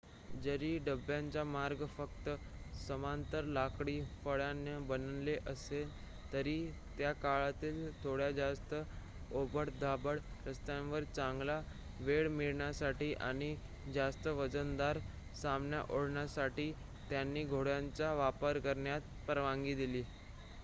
जरी डब्ब्यांचे मार्ग फक्त समांतर लाकडी फळ्यांनी बनलेले असले तरी त्याकाळातील थोड्या जास्त ओबडधोबड रस्त्यांवर चांगला वेग मिळवण्यासाठी आणि जास्त वजनदार सामान ओढण्यासाठी त्यांनी घोड्यांचा वापर करण्यास परवानगी दिली